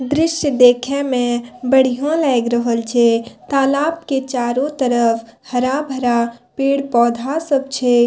दृश्य देखे में बढ़िया लाएग रहल छै तालाब के चारो तरफ हरा-भरा पेड़-पौधा सब छै।